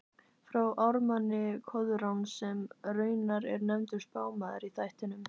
frá ármanni Koðráns, sem raunar er nefndur spámaður í þættinum